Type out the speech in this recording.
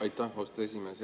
Aitäh, austatud esimees!